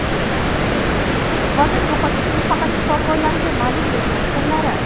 Vazn yo‘qotishning faqat shifokorlarga ma’lum bo‘lgan sirlari.